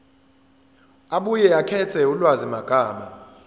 abuye akhethe ulwazimagama